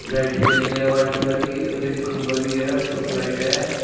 Light जल रही है व्हाइट कलर की और एक खम्भा भी है उसके ऊपर लाइट है।